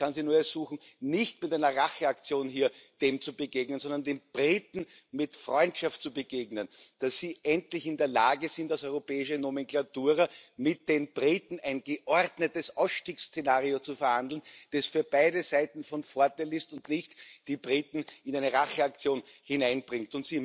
Ich kann Sie nur ersuchen, dem nicht mit einer Racheaktion hier zu begegnen, sondern den Briten mit Freundschaft zu begegnen, und ich hoffe, dass Sie endlich in der Lage sind, als europäische Nomenklatura mit den Briten ein geordnetes Ausstiegsszenario zu verhandeln, das für beide Seiten von Vorteil ist und nicht die Briten in eine Racheaktion hineinbringt.